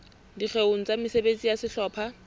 dikgeong tsa mesebetsi ya sehlopha